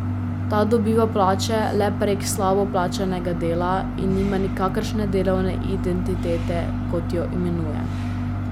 Ta dobiva plače le prek slabo plačanega dela in nima nikakršne delovne identitete, kot jo imenuje.